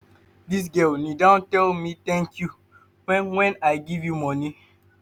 dis girl kneel-down tell me tank you wen wen i give am moni.